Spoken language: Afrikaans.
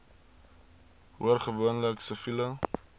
hoor gewoonlik siviele